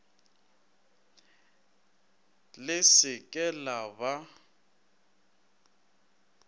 le se ke la ba